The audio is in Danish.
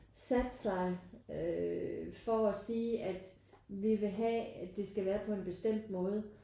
Sat sig øh for at sige at vi vil have at det skal være på en bestemt måde